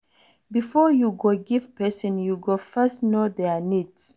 Before you go give person, you go first know their needs